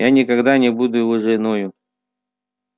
я никогда не буду его женою